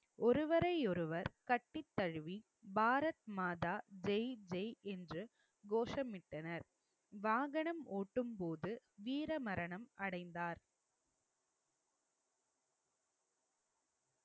ஒருவரையொருவர் கட்டித் தழுவி பாரத் மாதா ஜெய் ஜெய் என்று கோஷமிட்டனர் வாகனம் ஓட்டும்போது வீர மரணம் அடைந்தார்